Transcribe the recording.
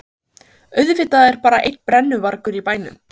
Auðvitað er bara einn brennuvargur í bænum!